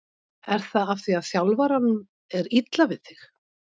Er það af því að þjálfaranum er illa við þig?